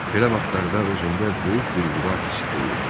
Belə vaxtlarda özündə böyük bir vüqar hissi duyurdu.